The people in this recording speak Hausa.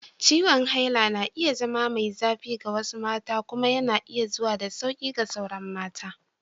Ciwon haila na iya zama mai zafi ga wasu mata kuma yana zuwa da sauƙi ga sauran mata.